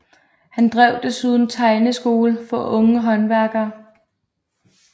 Han drev desuden tegneskole for unge håndværkere